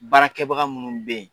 Baarakɛbaga minnu bɛ yen